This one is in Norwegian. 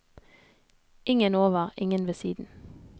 Ingen over, ingen ved siden.